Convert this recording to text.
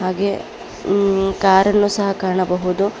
ಹಾಗೆ ಕಾರ್ ಅನ್ನು ಸಹ ಕಾಣಬಹುದು.